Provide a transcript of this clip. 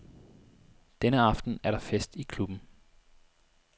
Denne aften er der fest i klubben.